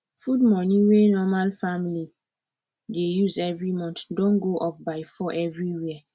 food money wey normal family dey use every month don go up by 4 everywhere